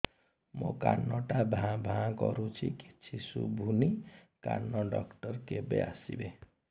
ମୋ କାନ ଟା ଭାଁ ଭାଁ କରୁଛି କିଛି ଶୁଭୁନି କାନ ଡକ୍ଟର କେବେ ଆସିବେ